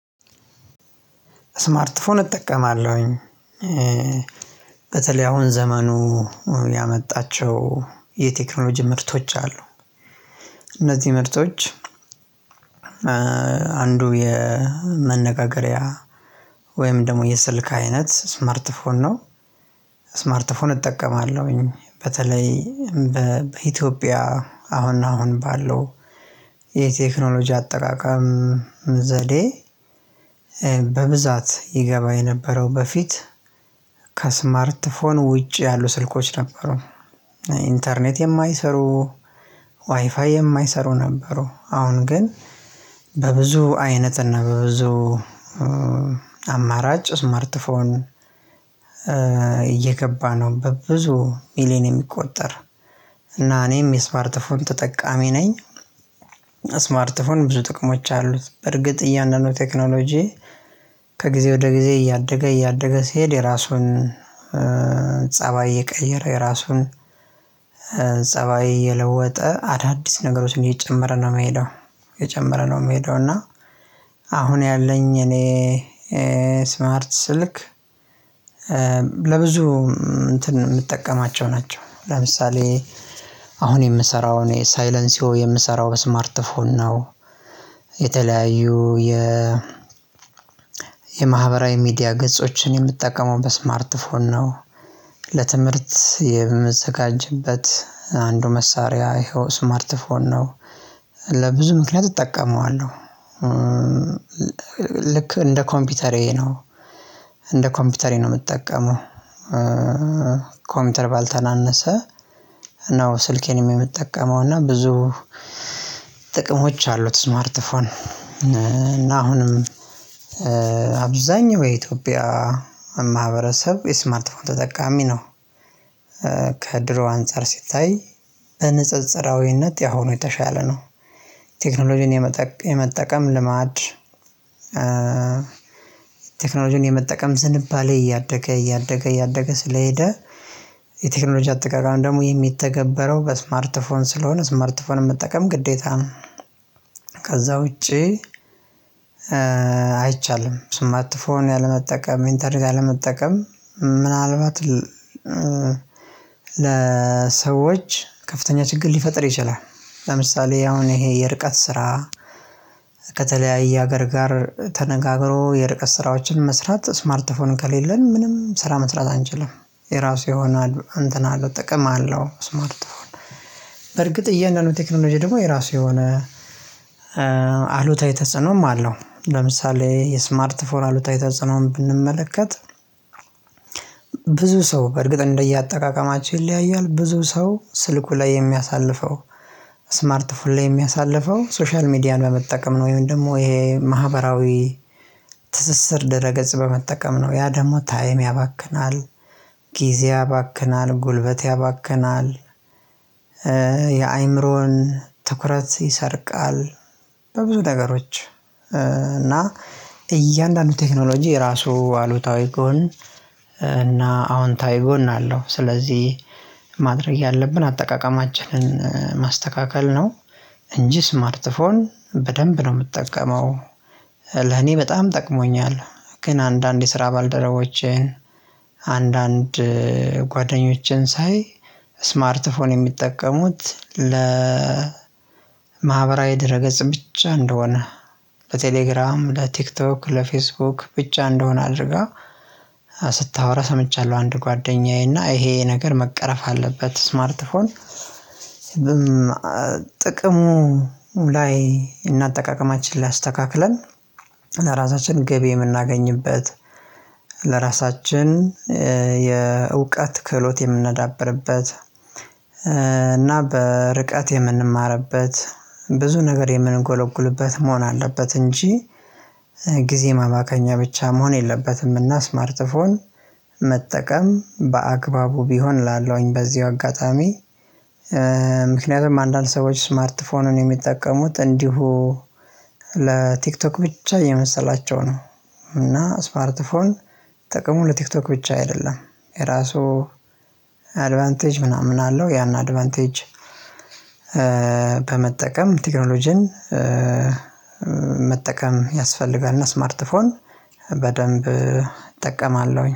ስማርት ስልክ እጠቀማለሁኝ። በተለይ አሁን ዘመኑ ያመጣቸው የቴክኖሎጂ ምርቶች አሉ እነዚህ ምርቶች። አንዱ የመነጋገሪያ ወይም ደግሞ የስልክ አይነት ስማርት ፎን ነው። ስማርት ፎን እጠቀማለሁኝ በተለይ በኢትዮጵያ አሁን አሁን ባለው የቴክኖሎጂ አጠቃቀም ዘዴ። በብዛት ይገባ የነበረው በፊት ከስማርት ፎን ውጪ ያሉ ስልኮች ነበሩ። ኢንተርኔት የማይሰሩ ዋይፋይ የማይሰሩ ነበሩ። አሁን ግን በብዙ አይነት እና በብዙ አማራጭ ስማርት ፎን እየገባ ነው በብዙ ሚሊየን የሚቆጠር እና እኔም የስማርትፎን ተጠቃሚ ነኝ። ስማርት ፎን ብዙ ጥቅሞች አሉት በርግጥ እያንኑ ቴክኖሎጂ ከጊዜ ወደ ጊዜ እያደገ እያደገ ሲሄድ የራሱን ፀባይ እየቀየረ የራሱን ፀባይ እየለወጠ አዳዲስ ነገሮችን እየጨመረ ነው የሚሄደው። እየጨመረ ነው የሚሄደው እና አሁን ያለኝ እኔ ስማርት ስልክ ለብዙ እንትን የምጠቀማቸው ናቸው። ለምሳሌ አሁን የምሰራው እኔ ሳይለንሲዮ የምሰራው ስማርት ፎን ነው። የተለያዩ የ ሚዲያ ገጾችን የምጠቀመው በስማርት ፎን ነው። ለትምህርት የምዘጋጅበት አንዱ መሳሪያ ይኸው ስማርት ፎን ነው። ለብዙ ምክንያት እጠቀመዋለሁ። ልክ እንደ ኮምፒውተሬ ነው እንደ ኮምፒውተሬ ነው የምጠቀመው የምጠቀመው ከኮምፒውተር ባልተናነሰ ነው። ስልኬንም የምጠቀመው እና ብዙ ጥቅሞች አሉት ስማርት ፎን እና አሁንም አብዛኛው የኢትዮጵያ ማህበረሰብ የስማርትፎን ተጠቃሚ ነው። ከድሮ አንፃር ሲታይ በንፅፅራዊነት ያሁኑ የተሻለ ነው። ቴክኖሎጂን የመጠቀም ልማድ ቴክኖሎጂን የመጠቀም ዝንባሌ እያደገ እያደገ እያደገ ስለሄደ የቴክኖሎጂ አጠቃቀም ደግሞ የሚተገበረው በስማርት ፎን ስለሆነ ስማርት ፎንን መጠቀም ግዴታ ነው። ከዛ ውጪ አይቻልም ስማርት ፎን አለመጠቀም ኢንተርኔት አለመጠቀም ምናልባት ለሰዎች ከፍተኛ ችግር ሊፈጥር ይችላል። ለምሳሌ አሁን ይሄ የርቀት ስራ ከተለያየ ሀገር ጋር ተነጋግሮ የርቀት ስራዎችን መስራት ስማርት ስልክ ከሌለን ምንም ስራ መስራት አንችልም። የራሱ የሆነ አንተን አለው ጥቅም አለው ስማርት ፎን በርግጥ እያንዳንዱ ቴክኖሎጂ ደግሞ የራሱ የሆነ አሉታዊ ተጽዕኖም አለው። ለምሳሌ የስማርት ፎን አሉታዊ ተጻዐኖን ብንመለከት። ብዙ ሰው በእርግጥ እንደየአጠቃቀማቸው ይለያያል ብዙ ሰው ስልኩ ላይ የሚያሳልፈው ስማርት ፎን ላይ የሚያሳልፈው ሶሻል ሚዲያ በመጠቀም ነው። ወይም ደግሞ ይሄ ማህበራዊ ትስስር ድረገጽ በመጠቀም ነው። ያ ደግሞ ታይም ያባክናል ጊዜ ያባክናል ጉልበት ያባክናል። የአእምሮን ትኩረት ይሰርቃል። በብዙ ነገሮች እና እያንዳንዱ ቴክኖሎጂ የራሱ አሉታዊ ጎን እና አዎንታዊ ጎን አለው። ስለዚህ ማድረግ ያለብን አጠቃቀማችንን ማስተካከል ነው። እንጂ ስማርትፎን በደንብ ነው የምጠቀመው። ለኔ በጣም ጠቅሞኛል። ግን አንዳንድ የስራ ባልደረቦቼን አንዳንድ ጓደኞችን ሳይ ስማርት ፎን የሚጠቀሙት ለ ለማህበራዊ ድረ ገጽ ብቻ እንደሆነ በቴሌግራም ለቲክቶክ ለፌስቡክ ብቻ እንደሆነ አድርገው ስታወራ ሰምቻለሁ። አንድ ጓደኛዬ እና ይሄ ነገር መቀረፍ አለበት ስማርትፎን። ጥቅሙ ላይ እና እጠቃቀማችን ላይ እስተካክለን ለራሳችን ገቢ የምናገኝበት ለራሳችን የእውቀት ክህሎት የምንዳብርበት እና በርቀት የምንማርበት ብዙ ነገር የምንጎለጉልበት መሆን አለበት። እንጂ ጊዜ ማባከኛ ብቻ መሆን የለበትም። እና ስማርት ፎን መጠቀም በአግባቡ ቢሆን እላለውኝ በዚሁ አጋጣሚ ምክንያቱም አንዳንድ ሰዎች ስማርት ፎንን የሚጠቀሙት እንዲሁ ለቲክቶክ ብቻ እየመሰላቸው ነው። እና ስማርት ፎን ጥቅሙ ለቲክቶክ ብቻ አይደለም። የራሱ አድቫንቴጅ ምናምን አለው። ያን አድቫንቴጅ በመጠቀም ቴክኖሎጂን መጠቀም ያስፈልጋል። እና ስማርት ፎን በደንብ እጠቀማለሁ